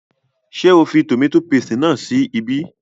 Ṣé o fi tòmátò paste náà sí ibí?